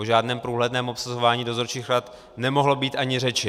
O žádném průhledném obsazování dozorčích rad nemohlo být ani řeči.